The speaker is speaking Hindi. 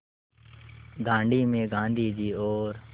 दाँडी में गाँधी जी और